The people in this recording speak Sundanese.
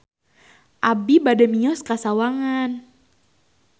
Abi bade mios ka Sawangan